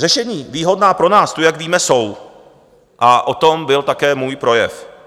Řešení výhodná pro nás tu, jak víme, jsou a o tom byl také můj projev.